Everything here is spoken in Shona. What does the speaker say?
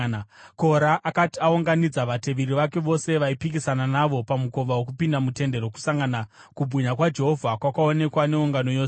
Kora akati aunganidza vateveri vake vose vaipikisana navo pamukova wokupinda muTende Rokusangana, kubwinya kwaJehovha kwakaonekwa neungano yose.